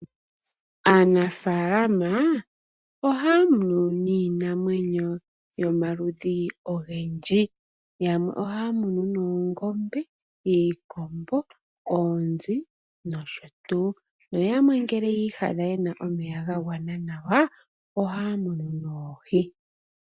Aanafaalama ohaya munu iinamwenyo yomaludhi ogendji. Yamwe ohaya munu oongombe , iikombo, oonzi noshotuu. Noyamwe ngele yiiyadha yena omeya gagwana nawa ohaya munu oohi .